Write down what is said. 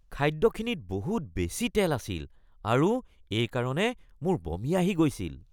খাদ্যখিনিত বহুত বেছি তেল আছিল আৰু এইকাৰণে মোৰ বমি আহি গৈছিল।